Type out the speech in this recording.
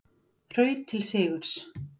Hraut til sigurs